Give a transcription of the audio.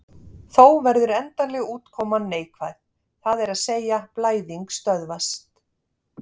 Þó verður endanlega útkoman neikvæð, það er að segja blæðing stöðvast.